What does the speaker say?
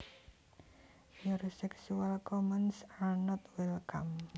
Your sexual comments are not welcome